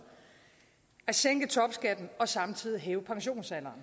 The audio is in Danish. at sænke topskatten og samtidig hæve pensionsalderen